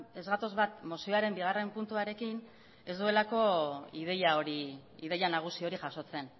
ez gatoz bat mozioaren bigarren puntuarekin ez duelako ideia hori ideia nagusi hori jasotzen